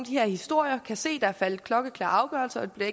her historier og kan se at der er faldet klokkeklare afgørelser men